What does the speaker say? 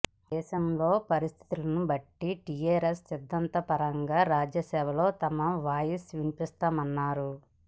దేశంలో పరిస్థితులను బట్టి టీఆర్ఎస్ సిద్ధాంతపరంగా రాజ్యసభలో తమ వాయిస్ వినిపిస్తామన్నారు